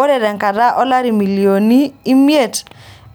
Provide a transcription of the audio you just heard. Ore tenkata oolari milioninin ii imiet